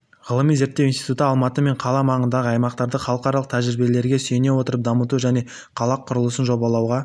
ғылыми зерттеу институты алматы мен қала маңындағы аймақтарды халықаралық тәжірибелерге сүйене отырып дамыту және қалақұрылысын жобалауға